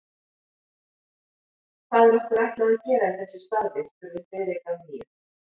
Hvað er okkur ætlað að gera í þessu starfi? spurði Friðrik að nýju.